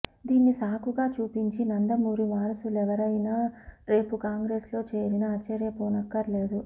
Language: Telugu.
దీన్ని సాకుగా చూపించి నందమూరి వారసులెవరైనా రేపు కాంగ్రెస్ లో చేరిన ఆశ్చర్యపోనక్కర్లేదు